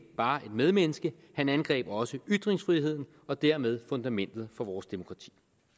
bare et medmenneske han angreb også ytringsfriheden og dermed fundamentet for vores demokrati